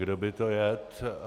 Kdo by to jedl?